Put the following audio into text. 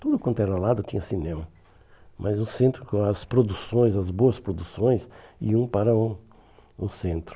Tudo quanto era lado tinha cinema, mas o centro, com as produções, as boas produções iam para o o centro.